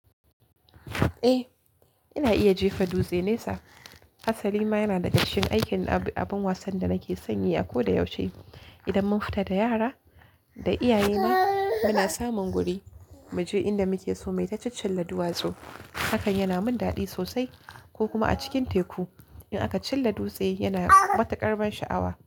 Eh, ina iya jefa dutse nesa. Asali ma yana daga cikin aikin abun wasan da nake sanyi a ko da yaushe. Idan mun fita da yara da iyaye na muna samun guri mu je inda muke so, muyita ciccinla duwatsu hakan yana min daɗi sosai ko kuma a cikin teku. In aka cilla dutse yana matuƙar ban sha'awa.